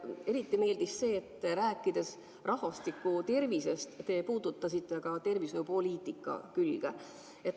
Mulle eriti meeldis see, et rääkides rahvastiku tervisest, te puudutasite ka tervishoiupoliitika külge.